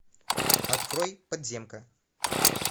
открой подземка